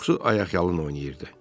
Çoxusu ayaqyalın oynayırdı.